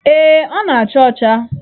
Ee, ọ na-acha ọcha.